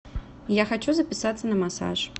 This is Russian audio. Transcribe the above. я хочу записаться на массаж